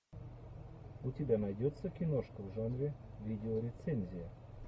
у тебя найдется киношка в жанре видеорецензия